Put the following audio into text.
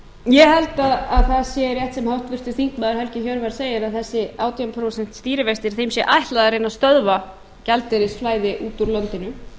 ég held að það sé rétt sem háttvirtur þingmaður helgi hjörvar segir að þessir átján prósent stýrivextir að þeim sé ætlað að reyna að stöðva gjaldeyrisflæði út úr landinu